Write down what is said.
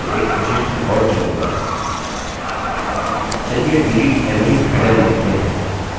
चलिए delete emily headen लिखते हैं अतः मैं डिलीट करने के लिए emily headen का रिकार्ड चुनूँगा